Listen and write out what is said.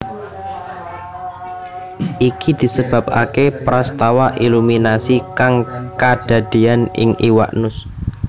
Iki disebabaké prastawa iluminasi kang kadadéan ing iwak nus